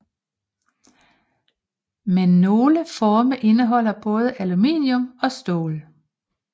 Men nogle forme indeholder både aluminium og stål